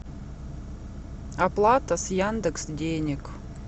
оплата с яндекс денег